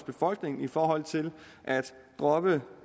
befolkningen i forhold til at droppe